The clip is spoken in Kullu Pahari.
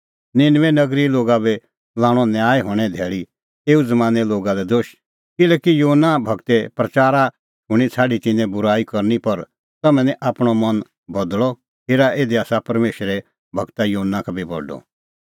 निनबे नगरीए लोगा बी लाणअ न्याय हणें धैल़ी एऊ ज़मानें लोगा लै दोश किल्हैकि योना गूरे प्रच़ारा शूणीं छ़ाडी तिन्नैं बूराई करनी पर तम्हैं निं आपणअ मन बदल़अ हेरा इधी आसा परमेशरे गूर योना का बी बडअ